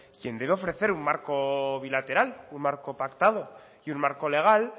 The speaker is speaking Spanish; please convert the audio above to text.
quien debe ofrecer un marco bilateral un marco pactado y un marco legal